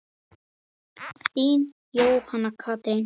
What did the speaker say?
Þín, Jóhanna Katrín.